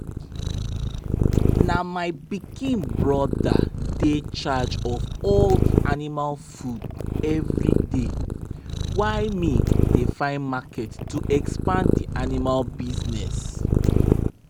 na my pikin brother dey charge of all the animal food everyday why me dey find market to expand di animal business.